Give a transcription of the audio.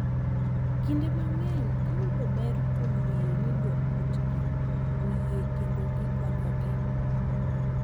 Kinde mang’eny, giyudo ber kuom ng’eyo ni jo otgi oyie kendo gikonyogi,